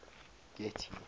getty